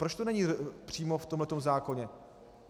Proč to není přímo v tomhle zákoně?